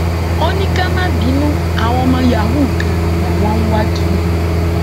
ó ní ká má bínú àwọn ọmọ yahoo kan làwọn ń wá kiri